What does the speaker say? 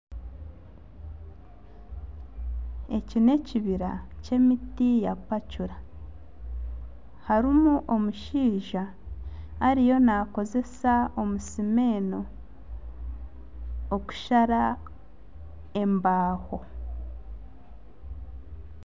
Eki ni ekibira ky'emiti ya pacura. Harimu omushaija ariyo nakozesa omusimeno okushara embaaho.